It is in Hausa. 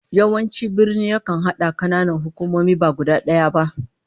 Yawanci birni yakan hada kananan hukumomi ba guda daya ba